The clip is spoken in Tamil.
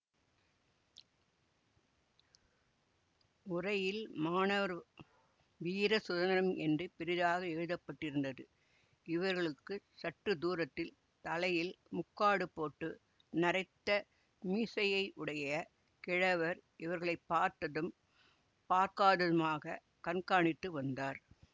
உறையில் மாணவர் வீர சுதந்திரம் என்று பெரிதாக எழுத பட்டிருந்தது இவர்களுக்குச் சற்று தூரத்தில் தலையில் முக்காடுபோட்டு நரைத்த மீசையையுடைய கிழவர் இவர்களை பார்த்ததும் பார்க்காததுமாகக் கண்காணித்து வந்தார்